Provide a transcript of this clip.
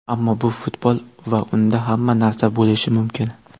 Ammo bu futbol va unda hamma narsa bo‘lishi mumkin.